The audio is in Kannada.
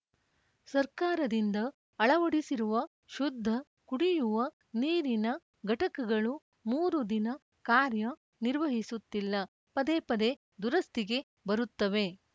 ಸರ್ಕಾರದಿಂದ ಅಳವಡಿಸಿರುವ ಶುದ್ಧ ಕುಡಿಯುವ ನೀರಿನ ಘಟಕಗಳು ಮೂರು ದಿನ ಕಾರ್ಯ ನಿರ್ವಹಿಸುತ್ತಿಲ್ಲ ಪದೇ ಪದೇ ದುರಸ್ತಿಗೆ ಬರುತ್ತವೆ